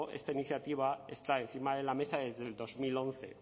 esta iniciativa está encima de la mesa desde el dos mil once